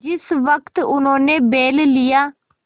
जिस वक्त उन्होंने बैल लिया